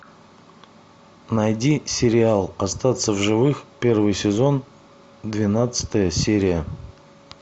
найди сериал остаться в живых первый сезон двенадцатая серия